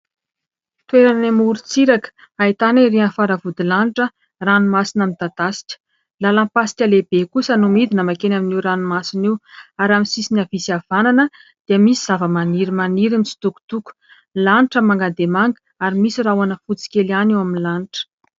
Toerana eny amorontsiraka, ahitana erỳ amin'ny faravodilanitra ranomasina midadasika. Lalam-pasika lehibe kosa no midina mankeny amin'io ranomasina io ary amin'ny sisiny havia sy havanana dia misy zavamaniry maniry mitsitokotoko. Lanitra manga dia manga ary misy rahona fotsy kely ihany eo amin'ny lanitra.